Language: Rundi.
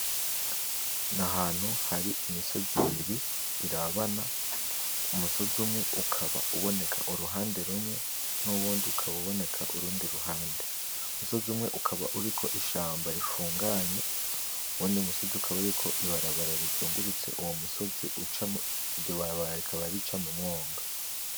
Ni ahantu hari imisozi ibiri irabana, umusozi umwe ukaba uboneka uruhande rumwe n'uwundi ukaba uboneka urundi ruhande , umusozi umwe ukaba uriko ishamba rifunganye , uwundi musozi ukaba uriko ibarabara rizungurutse uwo musozi ucamwo , iryo barabara rikaba rica mumwonga.